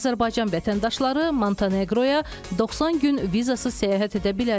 Azərbaycan vətəndaşları Monteneqroya 90 gün vizasız səyahət edə bilərlər.